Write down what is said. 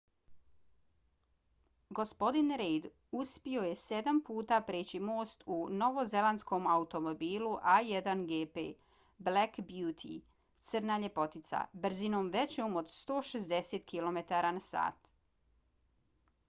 gospodin reid uspio je sedam puta preći most u novozelandskom automobilu a1gp black beauty crna ljepoticabrzinom većom od 160 km/h